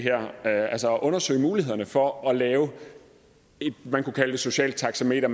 her altså undersøge mulighederne for at lave det man kunne kalde et socialt taxameter